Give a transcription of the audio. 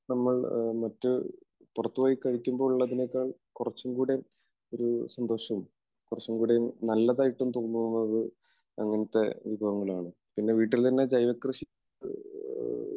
നമ്മൾ മറ്റ് പുറത്തുപോയി കഴിക്കുമ്പോൾ ഉള്ളതിനേക്കാൾ കുറച്ചുംകൂടെ ഒരു സന്തോഷവും, കുറച്ചും കൂടെ നല്ലതായിട്ടും തോന്നുന്നത് അങ്ങനത്തെ വിഭവങ്ങളാണ്. പിന്നെ വീട്ടിൽ തന്നെ ജൈവകൃഷി